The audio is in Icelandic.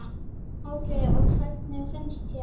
Óli: Og hvernig finnst þér?